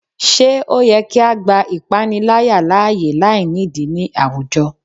Ṣe o yẹ ki a gba ipanilaya laaye lainidi ni awujọ?